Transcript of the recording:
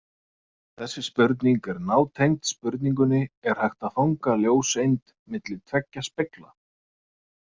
Þessi spurning er nátengd spurningunni Er hægt að fanga ljóseind milli tveggja spegla?